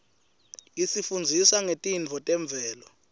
isifundzisa ngetintfo temvelo